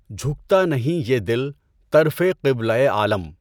جھکتا نہیں یہ دل طرفِ قبلۂ عالم